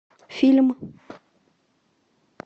фильм